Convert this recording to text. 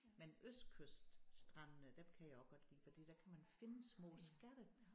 Men østkyststrandene dem kan jeg også godt lide fordi der kan man finde små skatte